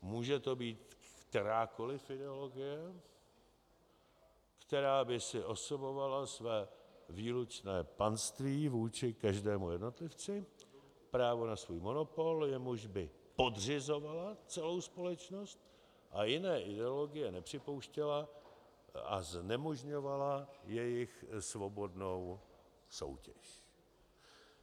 Může to být kterákoli ideologie, která by si osobovala své výlučné panství vůči každému jednotlivci, právo na svůj monopol, jemuž by podřizovala celou společnost, a jiné ideologie nepřipouštěla a znemožňovala jejich svobodnou soutěž.